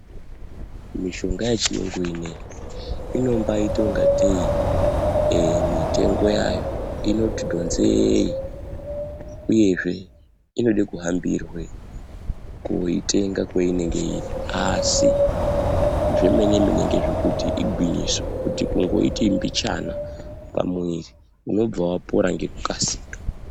Mishonga yechiyungu ine iyi inombaita ingatei mitongo yayo inoti dhonzei, uyezve inode kuhambirwe koitenga kweinonga iri, asi zvemene mene ngezvekuti igwinyiso, kuti kungoiti mbijana pamuviri unobva wapora ngekukasika.